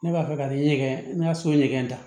Ne b'a fɛ ka nin ɲɛgɛn ne ka so ɲɛ da